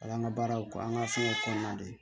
Ala an ka baaraw kɔ an ka fɛnw kɔnɔna de